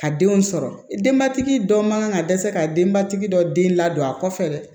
A denw sɔrɔ denbatigi dɔ man kan ka dɛsɛ ka denbatigi dɔ den ladon a kɔfɛ